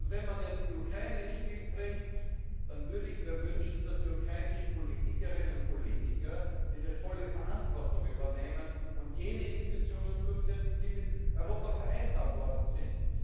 Wenn man jetzt die Ukraine ins Spiel bringt, dann würde ich mir wünschen, dass die ukrainischen Politikerinnen und Politiker ihre volle Verantwortung übernehmen und jene Investitionen durchsetzen, die mit Europa vereinbart worden sind.